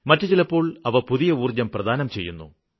മറ്റു ചിലപ്പോള് അവ പുതിയ ഊര്ജ്ജം പ്രദാനം ചെയ്യുന്നു